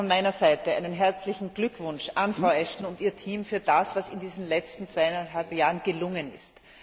Auch von meiner Seite einen herzlichen Glückwunsch an Frau Ashton und ihr Team für das, was in diesen letzten zweieinhalb Jahren gelungen ist.